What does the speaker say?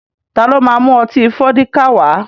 Ta ló ma mú ọtí Fọ́díkà wá?